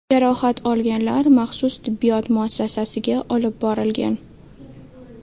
Jarohat olganlar maxsus tibbiyot muassasasiga olib borilgan.